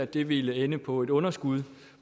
det ville ende på et underskud